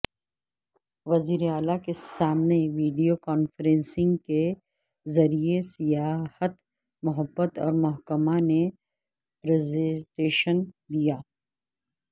وزیراعلی کے سامنے ویڈیوکانفرنسنگ کے ذریعہ سیاحت محبت محکمہ نے پرزنٹیشن دیا